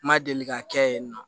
N ma deli ka kɛ yen nɔ